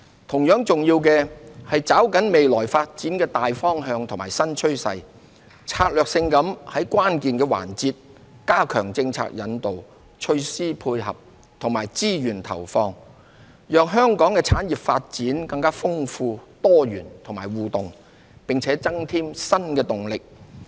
同樣重要的，是抓緊未來發展的大方向與新趨勢，策略性地在關鍵環節加強政策引導、措施配合及資源投放，讓香港的產業發展更豐富、多元和互動，並增添新動能。